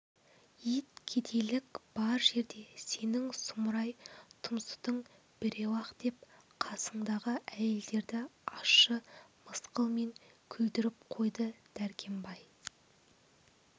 ит кедейдік бар жерде сенің сұмырай тұмсытың біреу-ақ деп қасындағы әйелдерді ащы мысқылмен күлдіріп қойды дәркембай